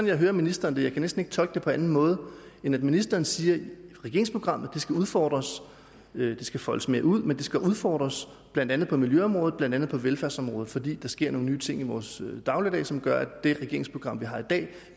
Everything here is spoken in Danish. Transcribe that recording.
jeg hører ministeren jeg kan næsten ikke tolke det på anden måde end at ministeren siger at regeringsprogrammet skal udfordres skal foldes mere ud men det skal udfordres blandt andet på miljøområdet blandt andet på velfærdsområdet fordi der sker nogle nye ting i vores dagligdag som gør at det regeringsprogram vi har i dag